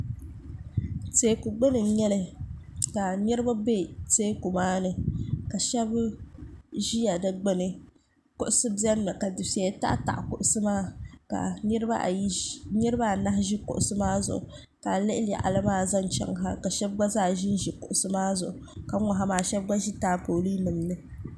teeku gbuni n nyɛli ka niraba bɛ teeku maa ni ka shab ʒi di gbuni kuɣusi biɛni mi ka dufɛya taɣataɣa kuɣusi maa ka niraba anahi ʒi kuɣusi maa zuɣu ka a lihi yaɣali maa zaŋ chɛŋ ha ka shab gba zaa ʒinʒi kuɣusi maa zuɣu ka n ŋɔ ha maa shab gba zaa ʒi taapooli ni